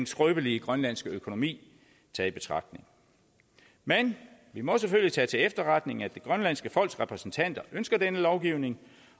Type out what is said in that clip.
skrøbelige grønlandske økonomi taget i betragtning men vi må selvfølgelig tage til efterretning at det grønlandske folks repræsentanter ønsker denne lovgivning